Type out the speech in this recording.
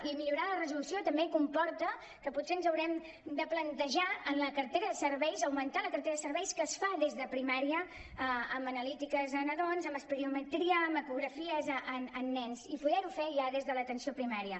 i millorar la resolució també comporta que potser ens haurem de plantejar en la cartera de serveis augmentar la cartera de serveis que es fa des de primària amb analítiques de nadons amb espirometria amb ecografies en nens i podem ho fer ja des de l’atenció primària